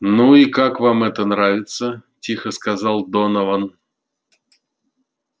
ну и как вам это нравится тихо сказал донован